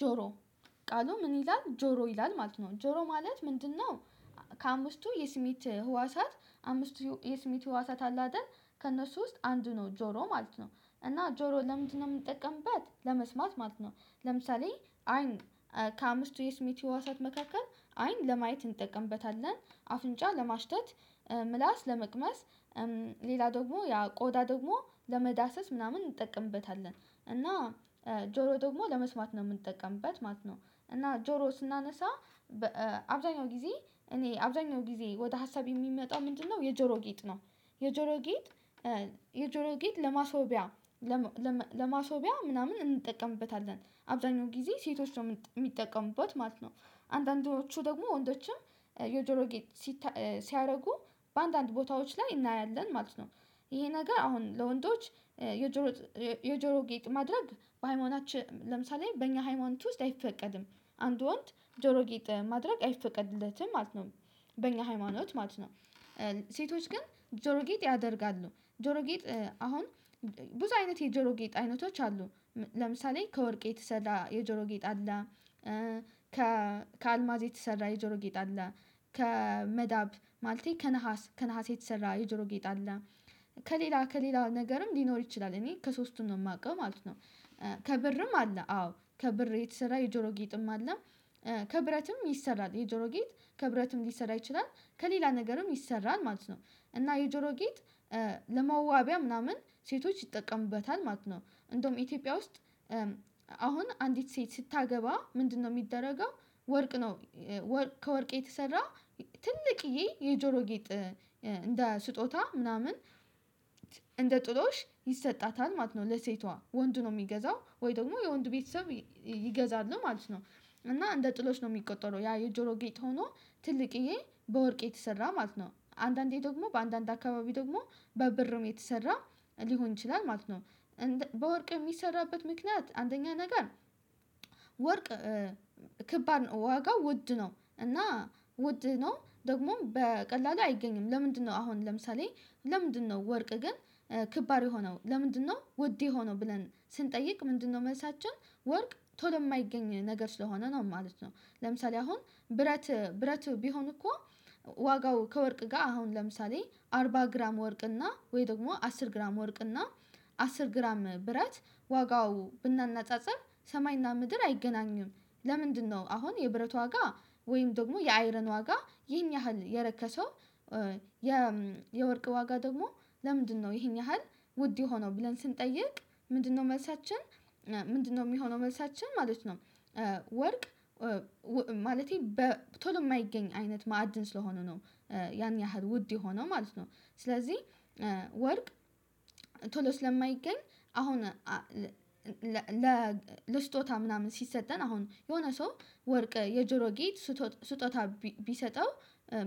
ጆሮ ቃሉ ምን ይላል ጆሮ ይላል ማለት ነው ጆሮ ማለት ምንድነው? ከአምስቱ የስሜት ህዋሳት አምስቱ የስሜት ህዋሳት አሉ አይደል ከእነሱ ውስጥ አንዱ ነው ጆሮ ማለት ነው። እና ጆሮ ለምንድነው የምንጠቀምበት ለመስማት ማለት ነው። ለምሳሌ አይን ከአምስቱ የስሜት ህዋሳት መካከል አይን ለማየት እንጠቀምበታለን አፍንጫ ለማሽታት ምላስ ለመቅመስ ሌላ ደግሞ ያ ቆዳ ደግሞ ለመዳሰስ ምናምን እንጠቀምበታለን። እና ጆሮ ደግሞ ለመስማት ነው የምንጠቀምበት ማለት ነው። እና ጆሮ ስናነሳ አብዛኛው ጊዜ እኔ አብዛኛው ጊዜ ወደ ሀሳብ የሚመጣው ምንድነው የጆሮ ጌጥ ነው። የጆሮ ጌጥ የጆሮ ጌጥ ለማስዋቢያ ለማስዋቢያ ምናምን እንጠቀምበታለን አብዛኛው ጊዜ ሴቶች ነው የሚጠቀሙበት ማለት ነው። አንዳንዶቹ ደግሞ ወንዶችም የጆሮ ጌጥ ሲያደርጉ በአንዳንድ ቦታዎች ላይ እናያለን ማለት ነው። ይሄ ነገር አሁን ለወንዶች የጆሮ የጆሮ ጌጥ ማድረግ በሃይማኖታችን ለምሳሌ በእኛ ሃይማኖት ውስጥ አይፈቀድም። አንድ ወንድ ጆሮ ጌጥ ማድረግ አይፈቀድለትም ማለት ነው። በእኛ ሃይማኖት ማለት ነው። ሴቶች ግን ጆሮ ጌጥ ያደርጋሉ ጆሮ ጌጥ አሁን ብዙ አይነት የጆሮ ጌጥ አይነቶች አሉ። ለምሳሌ ከወርቅ የተሰራ የጆሮ ጌጥ አለ። ከአልማዝ የተሰራ የጆሮ ጌጥ አለ። ከመዳብ ማለቴ ከነሃስ ከነሃስ የተሰራ የጆሮ ጌጥ አለ። ከሌላ ከሌላ ነገርም ሊኖር ይችላል እኔ ከሶስቱም ነው የማውቀው ማለት ነው። ከብርም አለ አዎ ከብር የተሰራ የጆሮ ጌጥም አለ። ከብረትም ይሰራል የጆሮ ጌጥ ከብረትም ሊሰራ ይችላል ከሌላ ነገርም ይሰራል ማለት ነው። እና የጆሮ ጌጥ ለመዋቢያ ምናምን ሴቶች ይጠቀሙበታል ማለት ነው እንደውም ኢትዮጵያ ውስጥ። አሁን አንዲት ሴት ስታገባ ምንድነው የሚደረገው? ወርቅ ነው። ከወርቅ የተሰራ ትልቅየ የጆሮ ጌጥ እንደ ስጦታ ምናምን እንደ ጥሎሽ ይሰጣታል ማለት ነው ለሴቷ ወንድ ነው የሚገዛው ወይ ደግሞ የወንድ ቤተሰብ ይገዛሉ ማለት ነው። እና እንደ ጥሎሽ ነው የሚቆጠረው ያ የጆሮ ጌጥ ሆኖ ትልቅዬ በወርቅ የተሰራ ማለት ነው አንዳንዴ ደግሞ በአንዳንድ አካባቢ ደግሞ በብርም የተሰራ ሊሆን ይችላል ማለት ነው። በወርቅ የሚሰራበት ምክንያት አንደኛ ነገር ወርቅ ከባድ ነው። ዋጋው ውድ ነው እና ውድ ነው ደግሞም በቀላሉ አይገኝም። ለምንድነው አሁን ለምሳሌ? ለምንድነው ወርቅ ግን ከባድ የሆነው ለምንድነው ውድ ሆኖ ብለን ስንጠይቅ ምንድነው መልሳችን ወርቅ ቶሎ የማይገኝ ነገር ስለሆነ ነው ማለት ነው። ለምሳሌ አሁን ብረት ብረት ቢሆን እኮ። ዋጋው ከወርቅ ጋር አሁን ለምሳሌ አርባ ግራም ወርቅ እና ወይ ደግሞ አስር ግራም ወርቅ እና አስር ግራም ብረት ዋጋው ብናነጻጽር ሰማይና ምድር አይገናኝም። ለምንድነው አሁን የብረት ዋጋ ወይም ደግሞ የአይረን ዋጋ ይህን ያህል የረከሰው? የወርቅ ዋጋ ደግሞ ለምንድነው ይሄን ያህል ውድ የሆነው ብለን ስንጠይቅ። ምንድነው መልሳችን ምንድነው የሚሆነው መልሳችን ማለት ነው። ወርቅ ማለቴ በቶሎ የማይገኝ አይነት ማዕድን ስለሆነ ነው። ያን ያህል ውድ የሆነው ማለት ነው። ስለዚህ ወርቅ ቶሎ ስለማይገኝ። አሁን ለስጦታ ምናምን ሲሰጠን አሁን የሆነ ሰው ወርቅ የጆሮ ጌጥ ስጦታ ቢሰጠው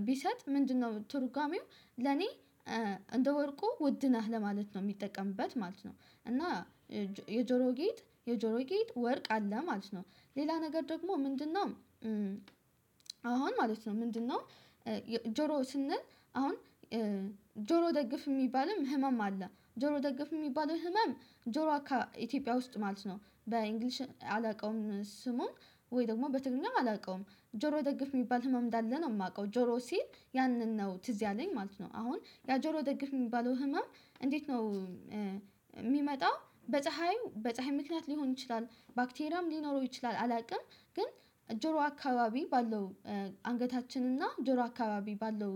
ቢሰጥ ምንድነው ትርጉሜው? ለኔ እንደ ወርቁ ውድ ነህ ለማለት ነው የሚጠቀምበት ማለት ነው። እና የጆሮ ጌጥ የጆሮ ጌጥ ወርቅ አለ ማለት ነው። ሌላ ነገር ደግሞ ምንድነው? አሁን ማለት ነው ምንድነው? ጆሮ ስንል አሁን ጆሮ ደግፍ የሚባልም ህመም አለ ጆሮ ደግፍ የሚባለው ህመም ጆሮ ኢትዮጵያ ውስጥ ማለት ነው በእንግሊዘኛ አላውቀውም ስሙን። ወይ ደግሞ በትግርኛም አላውቀውም። ጆሮ ደግፍ የሚባል ህመም እንዳለ ነው የማውቀው ጆሮ ሲል ያንን ነው ትዝ ያለኝ ማለት ነው። አሁን ያ ጆሮ ደግፍ የሚባለው ህመም እንዴት ነው? የሚመጣው በፀሀይ በፀሀይ ምክንያት ሊሆን ይችላል። ባክቴሪያም ሊኖረው ይችላል አላውቅም። ግን ጆሮ አካባቢ ባለው አንገታችን እና ጆሮ አካባቢ ባለው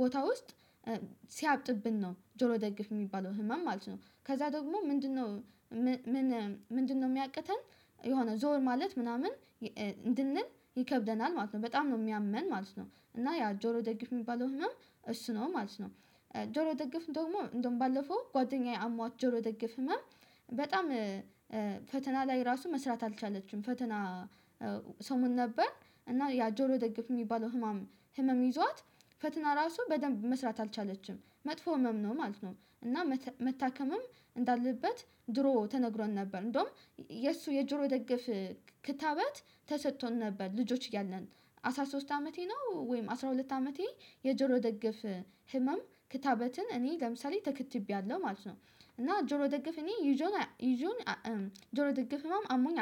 ቦታ ውስጥ ሲያብጥብን ነው ጆሮ ደግፍ የሚባለው ህመም ማለት ነው። ከዛ ደግሞ ምንድነው? ምን ምንድነው የሚያቅተን? የሆነ ዞር ማለት ምናምን እንድንል ይከብደናል ማለት ነው። በጣም ነው የሚያመን ማለት ነው። እና ያ ጆሮ ደግፍ የሚባለው ህመም እሱ ነው ማለት ነው። ጆሮ ደግፍ ደግሞ እንደውም ባለፈው ጓደኛዬ አሟት ጆሮ ደግፍ ህመም። በጣም ፈተና ላይ ራሱ መስራት አልቻለችም ፈተና። ሰሞን ነበር እና ያ ጆሮ ደግፍ የሚባለው ህመም ህመም ይዟት ፈትና ራሱ በደንብ መስራት አልቻለችም መጥፎ ህመም ነው ማለት ነው። እና መታከምም እንዳለበት ድሮ ተነግሮን ነበር። እንደውም የሱ የጆሮ ደግፍ ክትባት ተሰጥቶን ነበር። ልጆች እያልን አስራ ሶስት አመቴ ነው ወይም አስራ ሁለት አመቴ። የጆሮ ደገፍ ህመም ክትባትን እኔ ለምሳሌ ተክትቤያለሁ ማለት ነው። እና ጆሮ ደግፍ እኔ ይዞኝ ይዞኝ ጆሮ ደግፍ ህመም አሞኝ